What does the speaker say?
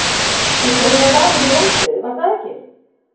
Bíddu hann var valinn í landsliðið var það ekki?